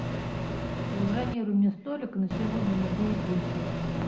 забронируй мне столик на сегодня на девять вечера